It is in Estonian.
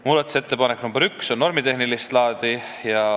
Muudatusettepanek nr 1 on normitehnilist laadi.